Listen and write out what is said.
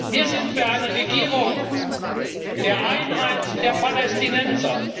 Wir sind für eine Regierung der Einheit der Palästinenser.